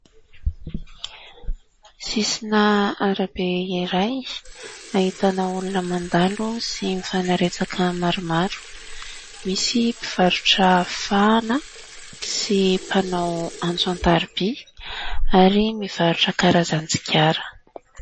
Sisina arabe iray ahitana olona mandalo sy mifanaretsaka maromaro, misy mpivarotra fahana sy mpanao antso an-tarobia ary mivarotra karazan-tsigara.